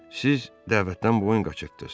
Siz dəvətdən boyun qaçırtdız.